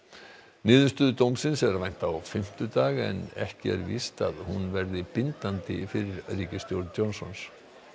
niðurstöðu dómsins er að vænta á fimmtudag en ekki er víst að hún verði bindandi fyrir ríkisstjórn Johnsons